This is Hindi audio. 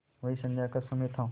वही संध्या का समय था